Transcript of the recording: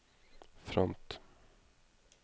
front